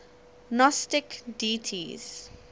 gnostic deities